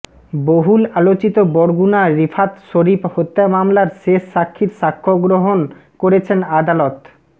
বহুল আলোচিত বরগুনা রিফাত শরীফ হত্যা মামলার শেষ সাক্ষীর সাক্ষ্য গ্রহণ করেছেন আদালত